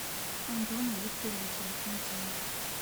антоном викторовичем митиным